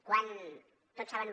quan tots saben